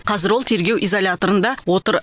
қазір ол тергеу изоляторында отыр